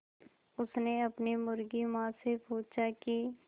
उसने अपनी मुर्गी माँ से पूछा की